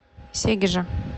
сегежа